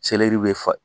be fa